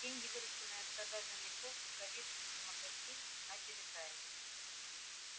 деньги вырученные от продажи мехов рукавиц и мокасин начали таять